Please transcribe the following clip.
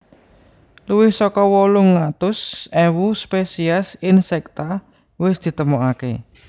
Luwih saka wolung atus ewu spesies insekta wis ditemoaké